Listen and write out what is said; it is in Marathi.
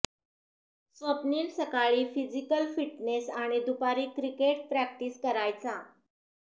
स्वप्नील सकाळी फिजिकल फिटनेस आणि दुपारी क्रिकेट प्रॅक्टिस करायचा